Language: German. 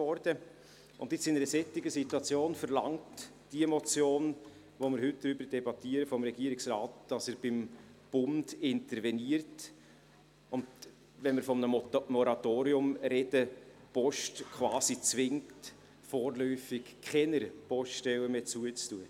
Jetzt, in einer solchen Situation, verlangt die Motion, über die wir heute debattieren, vom Regierungsrat, dass er beim Bund interveniert und, wenn wir von einem Moratorium sprechen, die Post quasi zwingt, vorläufig keine Poststellen mehr zu schliessen.